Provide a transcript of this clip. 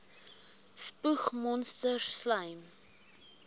spoeg monsters slym